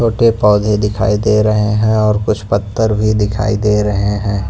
छोटे पौधे दिखाई दे रहे हैं और कुछ पत्थर भी दिखाई दे रहे है।